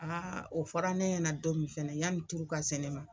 o fɔra ne ɲɛna don min fɛnɛ yani turu ka se ne ma